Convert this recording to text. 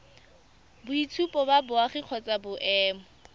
boitshupo ba boagi kgotsa boemo